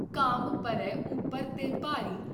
ਘਾਮ ਪਰੈ ਉਪਰ ਤੇ ਭਾਰੀ।